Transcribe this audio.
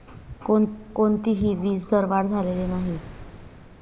कोणतीही वीजदरवाढ झालेली नाही.